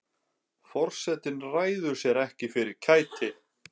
Forsetinn ræður sér ekki fyrir kæti.